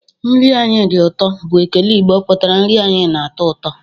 "Nri anyi di uto!" bụ ekele Igbo pụtara "Nri anyị na-atọ ụtọ